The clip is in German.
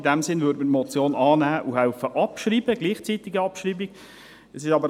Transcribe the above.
In diesem Sinn würden wir die Motion annehmen und gleichzeitig abschreiben.